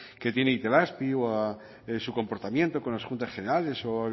que tiene itelazpi o su comportamiento con las juntas generales